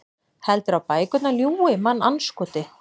Heldurðu að bækurnar ljúgi, mannandskoti?